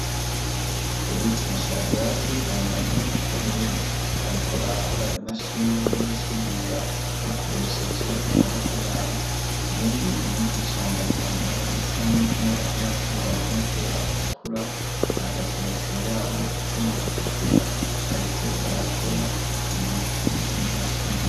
Eric na Schadrac, bambaye impuzu z'ubururu, bariko barakora imashini yo gusudira bakoresheje amaboko yabo, uwundi mwigisha yambaye ipantaro isa nivu n'agapira k'uburongo n'ubwera butukura yahagaze hejuru yabo, icuma gitukura bariko barakora, impuzu n'imashini.